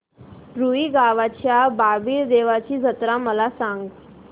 रुई गावच्या बाबीर देवाची जत्रा मला सांग